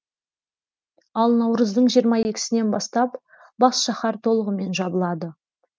ал наурыздың жиырма екісінен бастап бас шаһар толығымен жабылады